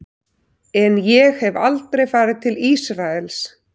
En ég hef aldrei farið til Ísraels.